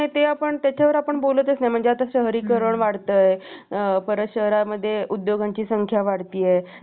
ऊसाचं प्रमाण इकडं महाराष्ट्रामध्ये लावण्याचं जास्त एक अनुभव पाण्यातल्या शेतीमध्ये कारण की, अं पा~ ऊसाला आपण आपल्याला माहितंच असंल की ऊसाला जास्त पाणी लागतं. तसंच कोरडवाहू शेतीमध्ये सोयाबीन,